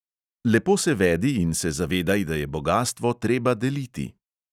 Lepo se vedi in se zavedaj, da je bogastvo treba deliti!